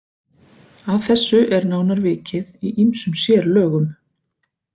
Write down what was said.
Að þessu er nánar vikið í ýmsum sérlögum.